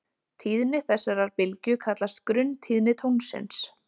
Tíðni þessarar bylgju kallast grunntíðni tónsins.